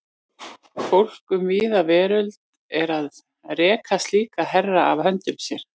Fólk um víða veröld er að reka slíka herra af höndum sér.